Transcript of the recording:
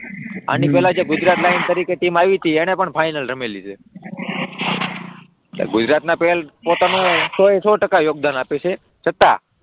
ઉહ આની પહેલા ગુજરાત લાઇન્સ તરીકે જે ટીમ આવી હતી તેને પણ ફાઇનલ રમેલી છે, ગુજરાતના પહેલ પોતાનું સો એ સો ટકા યોગદાન આપે છે છતાં,